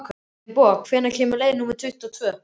Finnboga, hvenær kemur leið númer tuttugu og tvö?